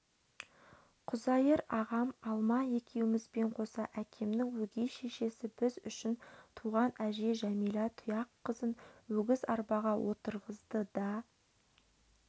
құзайыр ағам алма екеумізбен қоса әкемнің өгей шешесі біз үшін туған әже жәмилә тұяққызын өгіз арбаға отырығызды да